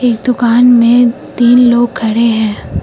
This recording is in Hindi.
इस दुकान में तीन लोग खड़े हैं।